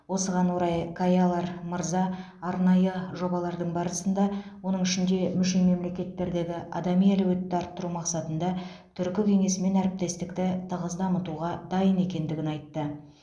осыған орай каялар мырза арнайы жобалардың барысында оның ішінде мүше мемлекеттердегі адами әлеуетті арттыру мақсатында түркі кеңесімен әріптестікті тығыз дамытуға дайын екендігін айтты